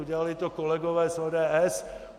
Udělali to kolegové z ODS.